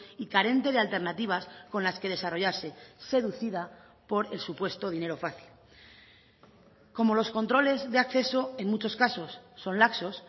y carente de alternativas con las que desarrollase seducida por el supuesto dinero fácil como los controles de acceso en muchos casos son laxos